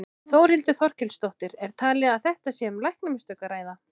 Þórhildur Þorkelsdóttir: Er talið að þetta sé um læknamistök að ræða?